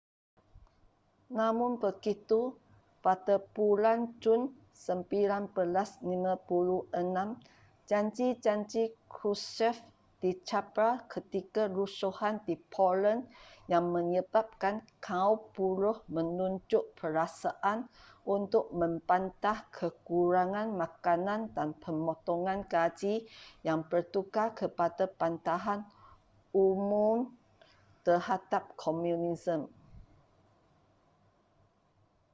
namun begitu pada bulan jun 1956 janji-janji krushchev dicabar ketika rusuhan di poland yang menyebabkan kaum buruh menunjuk perasaan untuk membantah kekurangan makanan dan pemotongan gaji yang bertukar kepada bantahan umum terhadap komunisme